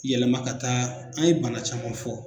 Yɛlɛma ka taa an ye bana caman fɔ.